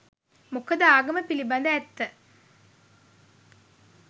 මොකද ආගම පිළිබඳ ඇත්ත